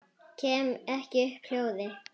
Kem ekki upp hljóði.